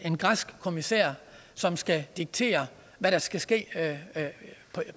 en græsk kommissær som skal diktere hvad der skal ske